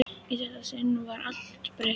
Í þetta sinn var allt breytt.